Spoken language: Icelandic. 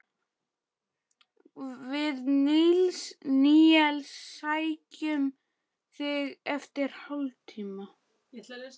Við Níels sækjum þig eftir hálftíma.